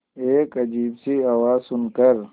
एक अजीब सी आवाज़ सुन कर